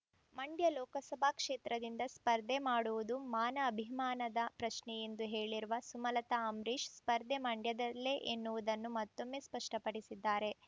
ಮಂ‌‌ಡ್ಯ ಲೋಕಸಭಾ ಕ್ಷೇತ್ರದಿಂದ ಸ್ಪರ್ಧೆ ಮಾಡುವುದು ಮಾನ ಅಭಿಮಾನದ ಪ್ರಶ್ನೆ ಎಂದು ಹೇಳಿರುವ ಸುಮಲತ ಅಂಬರೀಶ್ ಸ್ಪರ್ಧೆ ಮಂಡ್ಯದಿಂದಲೇ ಎನ್ನುವುದನ್ನು ಮತ್ತೊಮ್ಮೆ ಸ್ಪಷ್ಟಪಡಿಸಿದ್ದಾರೆ